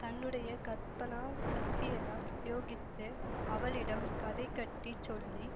தன்னுடைய கற்பனா சக்தியெல்லாம் பிரயோகித்து அவளிடம் கதை கட்டிச் சொல்லி